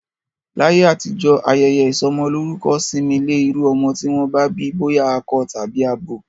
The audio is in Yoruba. Láyé àtijọ́, ayẹyẹ isọmọlórúkọ sinmi lé iru ọmọ ti wọn bi boya akọ tàbí abo